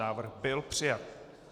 Návrh byl přijat.